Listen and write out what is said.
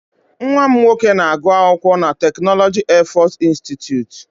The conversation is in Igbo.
Nwa m nwoke na-agụ akwụkwọ na tekinọloji Airforce Institute.